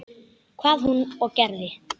Hvað hún og gerði.